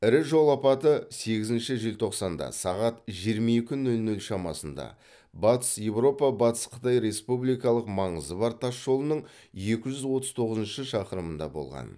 ірі жол апаты сегізінші желтоқсанында сағат жиырма екі нөл нөл шамасында батыс еуропа батыс қытай республикалық маңызы бар тас жолының екі жүз отыз тоғызыншы шақырымында болған